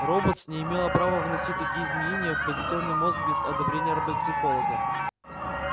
роботс не имела права вносить такие изменения в позитронный мозг без одобрения робопсихолога